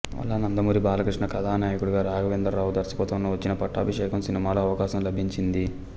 అలా నందమూరి బాలకృష్ణ కథానాయకుడిగా రాఘవేంద్రరావు దర్శకత్వంలో వచ్చిన పట్టాభిషేకం సినిమాలో అవకాశం లభించింది